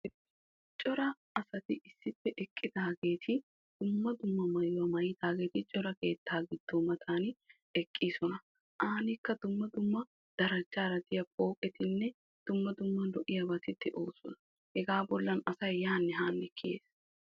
Cora asati issippe eqqidaageeti dumma dumma maayuwaa maayidaageeti cora keettaa giddo matan eqqiisona. Aanikka dumma dumma darajjaara de"iyaa pooqetinne dumma dumma lo"iyaabati de'oosona. Hegaa bollan asay yaanne haanne kiyees.